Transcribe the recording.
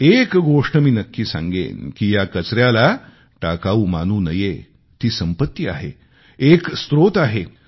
एक गोष्ट मी नक्की सांगेन की या कचऱ्याला टाकाऊ मानू नये ती संपत्ती आहे एक स्त्रोत आहे